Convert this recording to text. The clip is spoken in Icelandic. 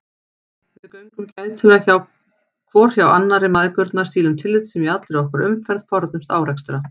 Við göngum gætilega hvor hjá annarri mæðgurnar, sýnum tillitssemi í allri okkar umferð, forðumst árekstra.